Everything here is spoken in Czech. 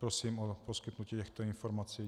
Prosím o poskytnutí těchto informací.